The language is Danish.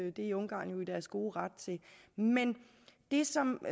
i ungarn i deres gode ret til men det som